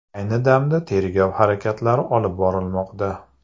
Ayni damda tergov harakatlari olib borilmoqda.